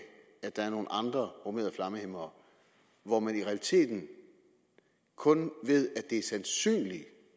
at der er nogle andre bromerede flammehæmmere hvorom man i realiteten kun ved at